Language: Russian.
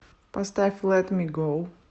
поставь лэт ми гоу